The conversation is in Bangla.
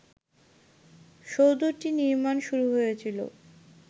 সৌধটি নির্মাণ শুরু হয়েছিল